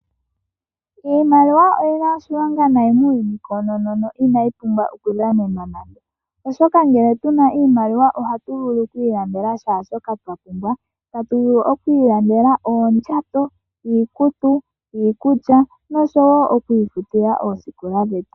Iimaliwa oyina oshilonga nai muuyuni koonono no inayi pumbwa oku dhanenwa, oshoka ngele tuna iimaliwa ohatu vulu oku ilandela kehe shoka twa pumbwa. Otatu vulu oku ilandela oondjato, iikutu, iikulya nosho wo oku ifutila oosikola dhetu.